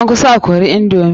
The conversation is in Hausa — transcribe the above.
An kusa a kore indomi.